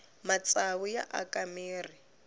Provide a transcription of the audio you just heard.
matsavu ya aka mirhi